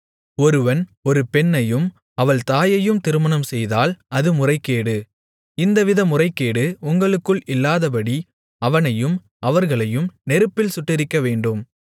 ஒருவன் ஒரு பெண்ணையும் அவள் தாயையும் திருமணம் செய்தால் அது முறைகேடு இந்தவித முறைகேடு உங்களுக்குள் இல்லாதபடி அவனையும் அவர்களையும் நெருப்பில் சுட்டெரிக்கவேண்டும்